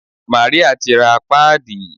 Màríà ti ra páàdì.